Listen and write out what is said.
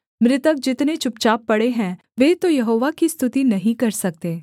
मृतक जितने चुपचाप पड़े हैं वे तो यहोवा की स्तुति नहीं कर सकते